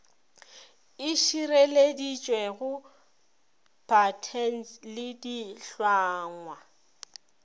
e šireleditšwego patents le ditlhangwa